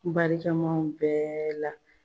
Barikamaw bɛɛ la.